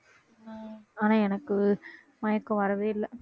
ஆனா எனக்கு மயக்கம் வரவே இல்லை